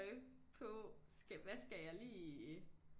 På skal hvad skal jeg lige